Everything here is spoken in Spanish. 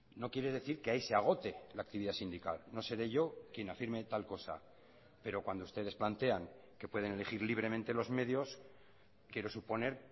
no quiere decir que ahí se agote la actividad sindical no seré yo quien afirme tal cosa pero cuando ustedes plantean que pueden elegir libremente los medios quiero suponer